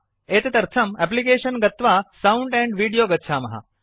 एतदर्थं एप्लिकेशन गत्वा sound and video गच्छामः